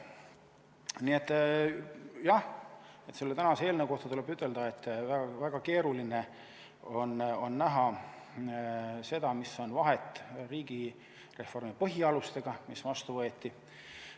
Nii et jah, selle tänase eelnõu kohta tuleb ütelda, et väga keeruline on näha, mis vahe on siin riigireformi põhialustega võrreldes, mis on vastu võetud.